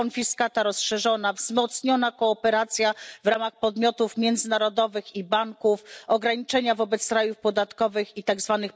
Konfiskata rozszerzona, wzmocniona kooperacja w ramach podmiotów międzynarodowych i banków, ograniczenia wobec rajów podatkowych i tzw.